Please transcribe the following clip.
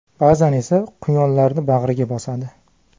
Ba’zan esa quyonlarni bag‘riga bosadi.